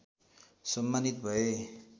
सम्मानित भए